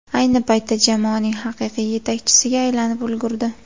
Ayni paytda jamoaning haqiqiy yetakchisiga aylanib ulgurdi.